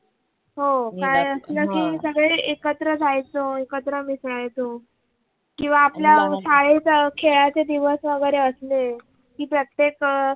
हो काय असल कि एकत्र जायचो एकत्र मिसळायचो किव्वा आपल्या शाळेत खेळायचे दिवस वगरे असले कि प्रत्येक